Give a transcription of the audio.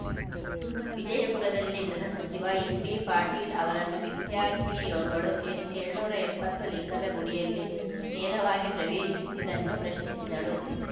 ವಿಜಯಪುರದಲ್ಲಿ ಗೃಹ ಸಚಿವ ಎಂಬಿ ಪಾಟೀಲ್‌ ಅವರನ್ನು ವಿದ್ಯಾರ್ಥಿನಿಯೋರ್ವಳು ಏಳ್ ಏಳುನೂರ ಎಪ್ಪತ್ತು ಲಿಂಗದ ಗುಡಿಯಲ್ಲಿ ನೇರವಾಗಿ ಪ್ರವೇಶಿಸಿದ್ದನ್ನು ಪ್ರಶ್ನಿಸಿದಳು